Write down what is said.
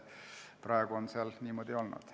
Praegu on see niimoodi olnud.